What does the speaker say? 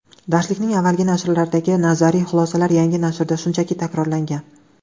Darslikning avvalgi nashrlaridagi nazariy xulosalar yangi nashrda shunchaki takrorlangan.